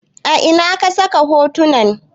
A ina ka saka hotunan?